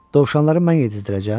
Dovşanları mən yedizdirəcəyəm.